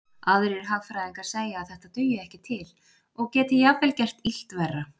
Aðrir hagfræðingar segja að þetta dugi ekki til og geti jafnvel gert illt verra.